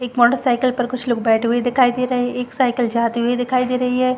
एक motorcycle पर कुछ लोग बैठे हुए दिखाई दे रहे एक साइकिल जाती हुई दिखाई दे रही है।